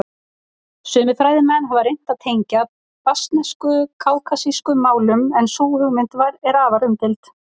Sumir fræðimenn hafa reynt að tengja basknesku kákasískum málum en sú hugmynd er afar umdeild.